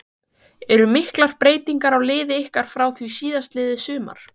Eru miklar breytingar á liði ykkar frá því síðastliðið sumar?